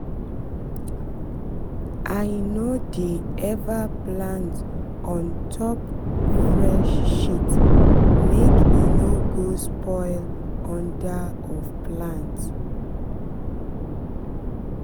i no dey ever plant on top fresh shit make e no go spoil under of plant